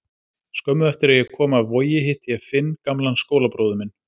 Skömmu eftir að ég kom af Vogi hitti ég Finn, gamlan skólabróður minn.